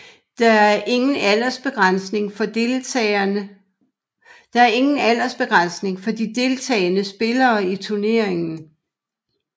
Der er ingen aldersbegrænsning for de deltagende spillere i turneringen